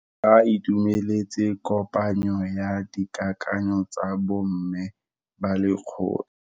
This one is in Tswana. Ba itumeletse kopanyo ya dikakanyo tsa bo mme ba lekgotla.